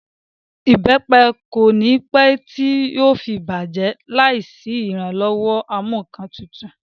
Ìbẹ́pẹ kò ní pẹ́ tí yóò fi bàjẹ́ tẹ́lẹ̀ láì sí ìrànlọ́wọ́ ẹ̀rọ amúǹkantutù